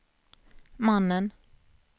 mannen